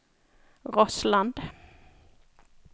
Rossland